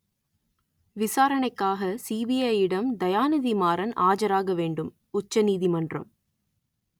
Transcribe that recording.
விசாரணைக்காக சிபிஐயிடம் தயாநிதி மாறன் ஆஜராக வேண்டும் உச்ச நீதிமன்றம்